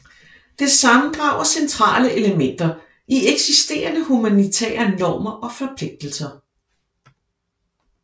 Det sammendrager centrale elementer i eksisterende humanitære normer og forpligtelser